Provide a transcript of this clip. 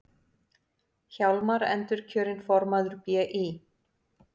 Hjálmar endurkjörinn formaður BÍ